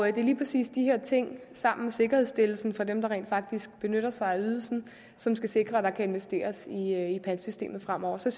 er lige præcis de her ting sammen med sikkerhedsstillelsen for dem der rent faktisk benytter sig af ydelsen som skal sikre at der kan investeres i pantsystemet fremover så